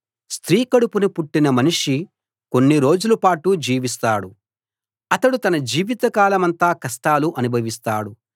స్త్రీ కడుపున పుట్టిన మనిషి కొన్ని రోజులపాటు జీవిస్తాడు అతడు తన జీవిత కాలమంతా కష్టాలు అనుభవిస్తాడు